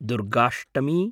Durgashtami